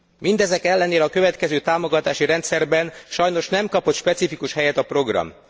Mindezek ellenére a következő támogatási rendszerben sajnos nem kapott specifikus helyet a program.